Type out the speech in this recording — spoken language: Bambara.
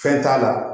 Fɛn t'a la